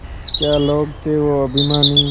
क्या लोग थे वो अभिमानी